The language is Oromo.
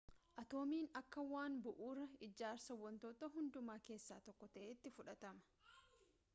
atoomiin akka waan bu'uuraa ijaarsaa wantoota hundumaa keessaa tokko ta'etti fudhatama